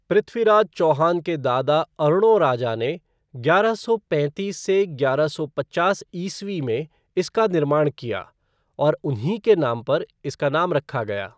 पृथ्वीराज चौहान के दादा अर्णोराजा ने ग्यारह सौ पैंतीस से ग्यारह सौ पचास ईस्वी में इसका निर्माण किया और उन्हीं के नाम पर इसका नाम रखा गया।